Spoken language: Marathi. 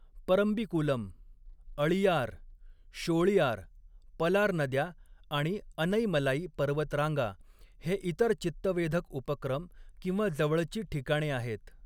परम्बिकुलम, अळीयार, शोळीयार, पलार नद्या आणि अनैमलाई पर्वतरांगा हे इतर चित्तवेधक उपक्रम किंवा जवळची ठिकाणे आहेत.